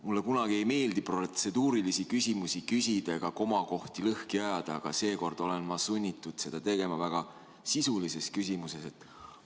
Mulle kunagi ei meeldi protseduurilisi küsimusi küsida ega komakohti lõhki ajada, aga seekord olen ma sunnitud seda tegema väga sisulise küsimuse tõttu.